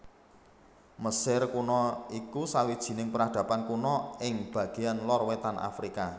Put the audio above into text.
Mesir Kuna iku sawijining peradaban kuna ing bagéan lor wétan Afrika